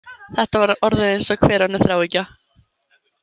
Þetta var orðið eins og hver önnur þráhyggja.